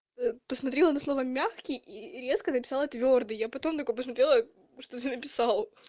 посмотрела на слова мягкий и резко написала твёрдый а потом только посмотрела что ты написал